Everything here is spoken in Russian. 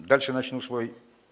дальше начну свой